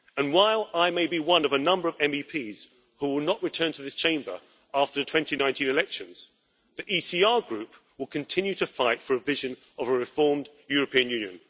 While I may be one of a number of MEPs who will not return to this Chamber after the 2019 elections, the ECR Group will continue to fight for a vision of a reformed European Union.